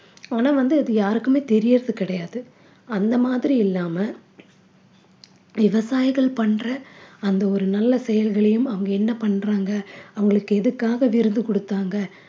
ஆனா வந்து அது யாருக்குமே தெரியறது கிடையாது அந்த மாதிரி இல்லாம விவசாயிகள் பண்ற அந்த ஒரு நல்ல செயல்களையும் அவங்க என்ன பண்றாங்க அவங்களுக்கு எதுக்காக விருது குடுத்தாங்க